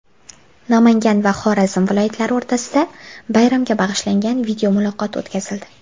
Namangan va Xorazm viloyatlari o‘rtasida bayramga bag‘ishlangan videomuloqot o‘tkazildi .